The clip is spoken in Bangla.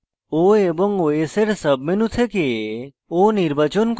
o এবং os এর সাবমেনু থেকে